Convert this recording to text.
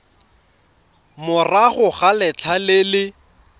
morago ga letlha le le